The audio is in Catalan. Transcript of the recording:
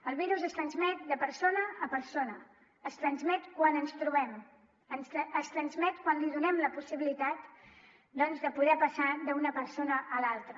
el virus es transmet de persona a persona es transmet quan ens trobem es transmet quan li donem la possibilitat doncs de poder passar d’una persona a l’altra